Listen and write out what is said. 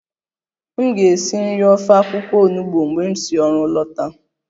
M ga-esi nri ofe akwụkwọ onugbo mgbe m si ọrụ lọta